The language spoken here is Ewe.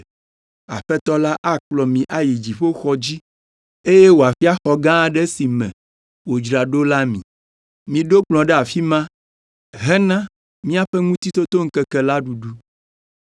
Aƒetɔ la akplɔ mi ayi dziƒoxɔ dzi eye wòafia xɔ gã aɖe si me wòdzra ɖo la mi. Miɖo kplɔ̃ ɖe afi ma hena míaƒe Ŋutitotoŋkeke la ɖuɖu.”